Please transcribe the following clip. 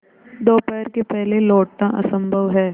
दोपहर के पहले लौटना असंभव है